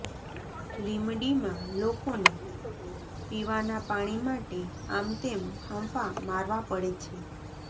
લીમડીમાં લોકોને પીવાના પાણી માટે આમતેમ ફાંફા મારવા પડે છે